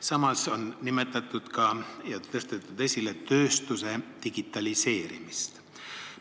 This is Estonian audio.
Samas on nimetatud ja esile tõstetud tööstuse digitaliseerimist.